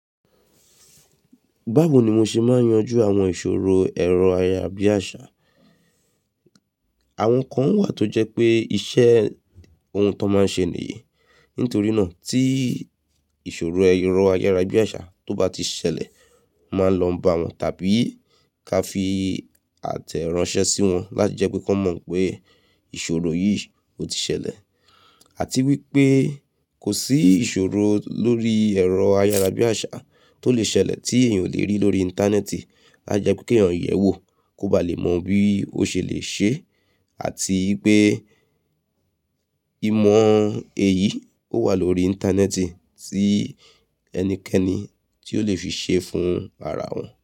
Báwo ni mo ṣe máa n yanjú àwọn ìṣòro ẹ̀rọ ayára bí àṣá? Àwọn kan wà tó jẹ́ pé iṣẹ́ ohun tó máa n ṣe nìyí. Nítorí náà tí ìṣòro ẹ̀rọ ayára bí àṣá tó bá ti ṣẹlẹ̀ máa lọ bá wọn tàbí ká fi àtẹ̀ránsẹ́ sí wọn láti jẹ́ pé kí wọ́n mọ̀ pé ìṣòro yìí ò ti ṣẹlẹ̀. Àti wípé kò sí ìṣòro lórí ẹ̀rọ ayára bí àṣá tó lè ṣẹlẹ̀ tí èèyàn ò lè rí lórí Íńtánẹ́ẹ̀tì. Ajepe ke èèyàn yẹ̀wò kó ba lè mọ bí ó ṣe lè ṣe, àti wípé ìmọ̀ èyí ò wà lórí Íńtánẹ́ẹ̀tì tí ẹnikẹ́ni tí ó lè fi ṣe fún ara wọn.